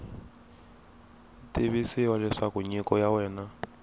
tivisiwa leswaku nyiko ya wena